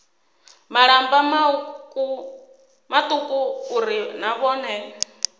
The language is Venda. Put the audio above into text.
malamba mauku uri na vhone